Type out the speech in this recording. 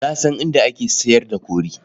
Na san inda ake sayar da kori.